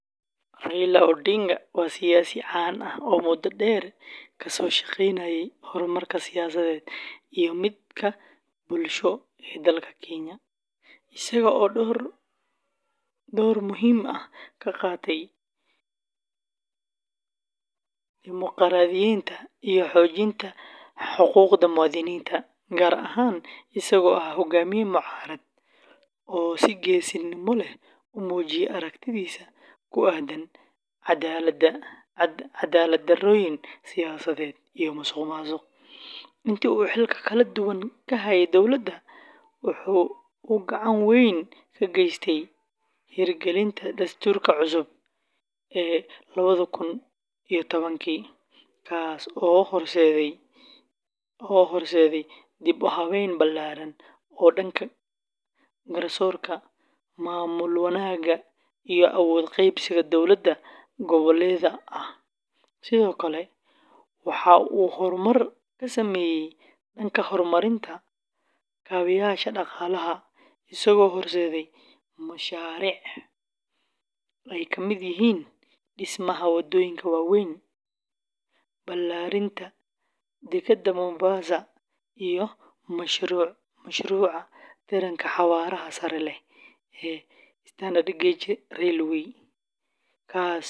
Raila Odinga waa siyaasi caan ah oo muddo dheer ka soo shaqaynayey horumarka siyaasadeed iyo midka bulsho ee dalka Kenya, isaga oo door muhiim ah ka qaatay dimuqraadiyeynta iyo xoojinta xuquuqda muwaadiniinta, gaar ahaan isagoo ahaa hogaamiye mucaarad oo si geesinimo leh u muujiyey aragtidiisa ku aaddan caddaalad-darrooyin siyaasadeed iyo musuqmaasuq. Intii uu xilalka kala duwan ka hayey dowladda, waxa uu gacan weyn ka geystay hirgelinta Dastuurka cusub ee lawadaa kun iyo tawankii, kaas oo horseeday dib-u-habeyn ballaaran oo dhanka garsoorka, maamul-wanaagga iyo awood qaybsiga dowlad goboleedyada ah. Sidoo kale, Raila Odinga waxa uu horumar ka sameeyey dhanka horumarinta kaabeyaasha dhaqaalaha, isagoo horseeday mashaariic ay ka mid yihiin dhismaha waddooyin waaweyn, balaadhinta dekedda Mombasa, iyo mashruuca tareenka xawaaraha sare leh ee Standard Gauge Railway, kaas oo fududeeyey.